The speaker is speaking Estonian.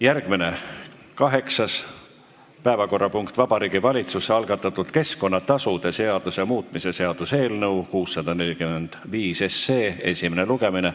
Järgmine, kaheksas päevakorrapunkt: Vabariigi Valitsuse algatatud keskkonnatasude seaduse muutmise seaduse eelnõu esimene lugemine.